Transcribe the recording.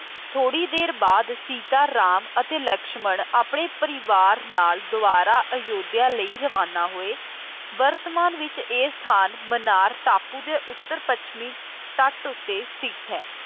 ਥੋੜੀ ਦੇਰ ਬਾਅਦ ਸੀਤਾ, ਰਾਮ ਅਤੇ ਲਕਸ਼ਮਣ ਆਪਣੇ ਪਰਿਵਾਰ ਨਾਲ ਦੁਆਰਾ ਅਯੋਧਿਆ ਲਈ ਰਵਾਨਾ ਹੋਏ, ਵਰਤਮਾਨ ਵਿੱਚ ਇਹ ਸਥਾਨ ਮਨਾਰ ਟਾਪੂ ਦੇ ਉੱਤਰ ਪੱਛਮੀ ਤੱਟ ਉੱਤੇ ਸਥਿਤ ਹੈ।